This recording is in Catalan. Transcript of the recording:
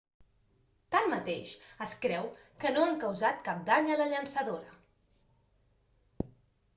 tanmateix es creu que no han causat cap dany a la llançadora